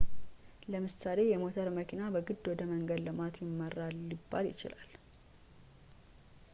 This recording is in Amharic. ለምሳሌ የሞተር መኪና በግድ ወደ መንገድ ልማት ይመራል ሊባል ይችላል